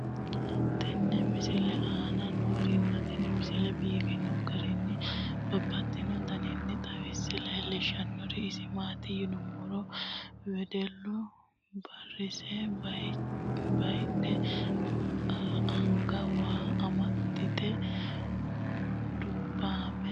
tenne misile aana noorina tini misile biiffanno garinni babaxxinno daniinni xawisse leelishanori isi maati yinummoro wedellu borissa bayiidhe , anga waa amaxxitte, dubbaamme doogo gidoonni hige hadhanni noo.